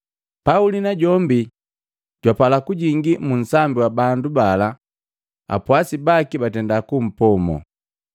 Pauli najombi jwapala kujingi mu nsambi wa bandu bala apwasi baki batenda kumpomo.